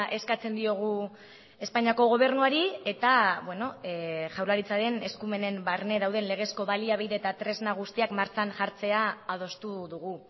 eskatzen diogu espainiako gobernuari eta jaurlaritzaren eskumenen barne dauden legezko baliabide eta tresna guztiak martxan jartzea adostu dugu